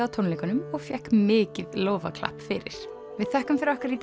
á tónleikunum og fékk mikið lófaklapp fyrir við þökkum fyrir okkur í